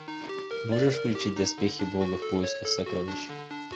можешь включить доспехи бога в поисках сокровищ